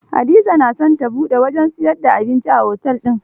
Hadiza na son ta buɗe wajen siyar da abinci a otel din